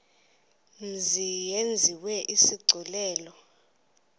mzi yenziwe isigculelo